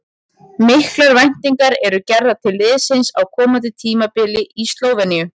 Miklar væntingar eru gerðar til liðsins á komandi tímabili í Slóveníu.